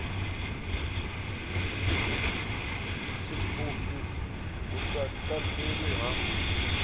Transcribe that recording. tshipfufhi hu sa katelwi ha